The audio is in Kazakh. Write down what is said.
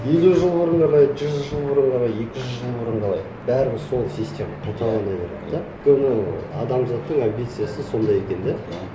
елу жыл бұрын қалай жүз жыл бұрын қалай екі жүз жыл бұрын қалай бәрібір сол система қайталана береді де өйткені адамзаттың амбициясы сондай екен де